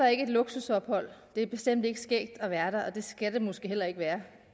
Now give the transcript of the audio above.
er ikke et luksusophold det er bestemt ikke skægt at være der og det skal det måske heller ikke være